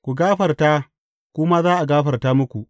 Ku gafarta, ku ma za a gafarta muku.